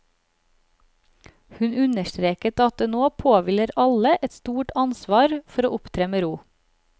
Hun understreket at det nå påhviler alle et stort ansvar for å opptre med ro.